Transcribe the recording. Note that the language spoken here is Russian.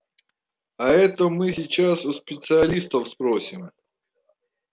а это мы сейчас у специалистов спросим